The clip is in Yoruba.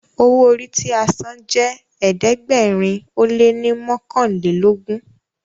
owo orí tí a sàn jé ẹ̀ẹ́dẹ̀gbẹ̀rin o lẹ ní mọkanlelogun.